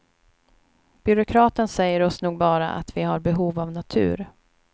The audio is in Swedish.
Byråkraten säger oss nog bara att vi har behov av natur.